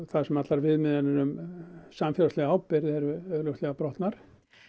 þar sem allar viðmiðanir um samfélagslega ábyrgð eru augljóslega brotnar